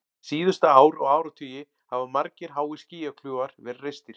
Síðustu ár og áratugi hafa margir háir skýjakljúfar verið reistir.